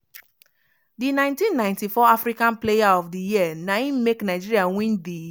di 1994 african player of di year na im make nigeria win di